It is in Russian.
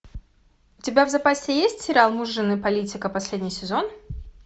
у тебя в запасе есть сериал муж жены политика последний сезон